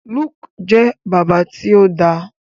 Luke jẹ bàbá ti o dá.